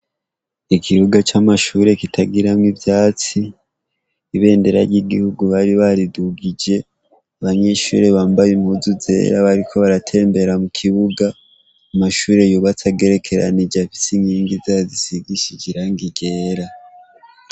Ikibuga c'amashure kitagiramwo ivyatsi, ibendera ry'igihugu bari baridugije. Abanyeshure bambaye impuzu zera bariko baratembera mukibuga. Amashure yubatse agerekeranije afise inkingi risigishije irangi ryera.